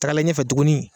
Tagalen ɲɛfɛ tuguni